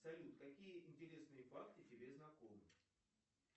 салют какие интересные факты тебе знакомы